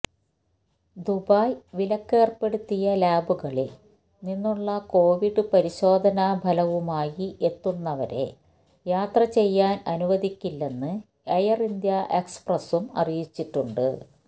Dubai വിലക്കേര്പ്പെടുത്തിയ ലാബുകളില് നിന്നുള്ള കൊവിഡ് പരിശോധനാഫലവുമായി എത്തുന്നവരെ യാത്ര ചെയ്യാന് അനുവദിക്കില്ലെന്ന് എയര് ഇന്ത്യ എക്സ്പ്രസും അറിയിച്ചിട്ടുണ്ട്